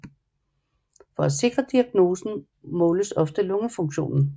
For at sikre diagnosen måles ofte lungefunktionen